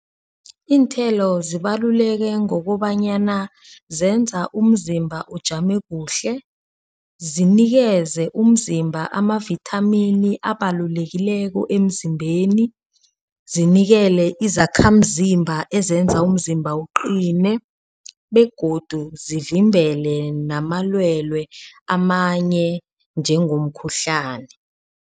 Iinthelo zibaluleke ngokobanyana zenza umzimba ujame kuhle. Zinikeze umzimba amavithamini abalulekileko emzimbeni. Zinikele izakhamzimba ezenza umzimba uqine begodu zivimbele namalwelwe amanye njengomkhuhlani.